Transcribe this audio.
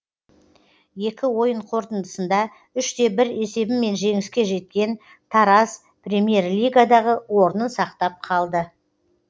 екі ойын қорытындысында үш те бір есебімен жеңіске жеткен тараз премьер лигадағы орнын сақтап қалды